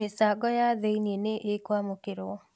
Mĩchango ya thiinĩ nĩ ĩkwamũkĩrwo